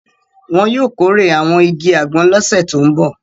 Wọn yóò kórè àwọn igi àgbọn lọ́sẹ̀ tó ń bọ̀.